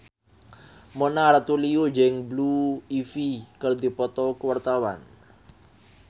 Mona Ratuliu jeung Blue Ivy keur dipoto ku wartawan